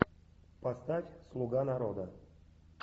поставь слуга народа